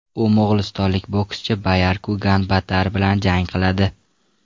U mo‘g‘ulistonlik bokschi Bayarku Ganbaatar bilan jang qiladi.